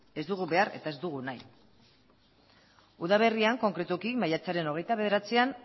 ez dugu behar eta ez dugu nahi udaberrian konkretuki maiatzaren hogeita bederatzian